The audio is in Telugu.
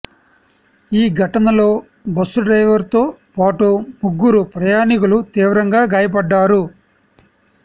ఈ ఘటనలో బస్సు డ్రైవర్తో పాటు ముగ్గురు ప్రయాణికులు తీవ్రంగా గాయపడ్డారు